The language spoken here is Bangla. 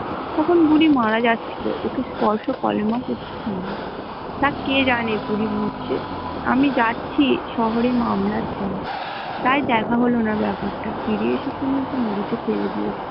তখন বুড়ি মারা যাছিল ও কে স্পর্শ করেনা তা কে জানে বুড়ি মরছে আমি জাছি শহরের মামলার জন্য তাই দেখা হল না ব্যাপার টা কি হল ফিরে এসে শুনলাম বুড়ি কে ফেলে দিয়েছে ।